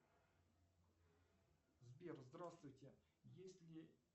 сбер здравствуйте есть ли